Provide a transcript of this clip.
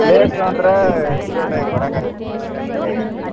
Accurate ಆಗಿ ಬರಾಕ ಆಗುತ್ರಿ ಅಂದ್ರೆ ಈಗ.